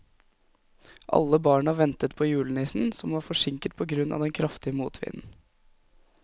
Alle barna ventet på julenissen, som var forsinket på grunn av den kraftige motvinden.